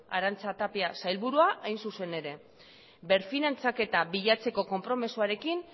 arantza tapia sailburua hain zuzen ere berfinantziaketa bilatzeko konpromezuarekin